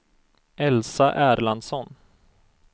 Elsa Erlandsson